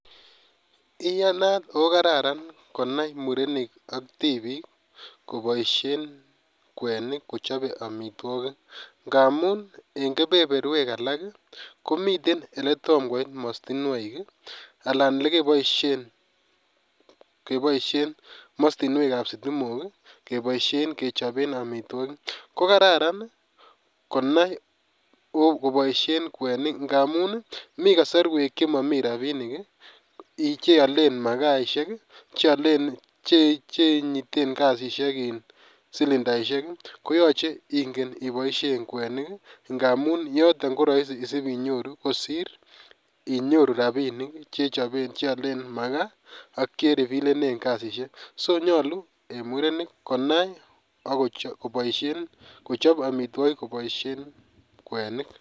iyaanat ooh kararan konaai murenik ak tibiik koboishen kwenik kochob omitwogiik ngamuun en kebeberweek alak komiten eletom koiit mostinwoiik iih alan elekeboishen mostinweek ab stimook iih keboishen kechobeen amitwogiik, kogararan konaai koboishen kweniik ngamuun iih mii kosorweek chemomiii rabinik iih cheoleen magaisheek, chenyiteen kasisiek iin silindaishek iih koyoche kityo iboishen kweniik ngamuun toton koroisi sibinyoruu kosiir inyoru rabinik cheoleen magaa ak cherifilenen kasisiek, so nyolu iih murenik konaai ak kochob amitwogiik koboishen kweniik.